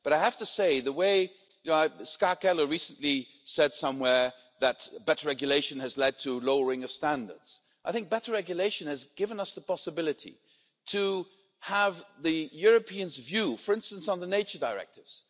But I have to say the way Ms Ska Keller recently said somewhere that better regulation has led to lowering of standards, I think better regulation has given us the possibility to have the European's view, for instance on the nature directives.